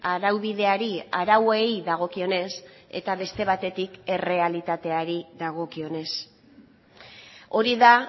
araubideari arauei dagokionez eta beste batetik errealitateari dagokionez hori da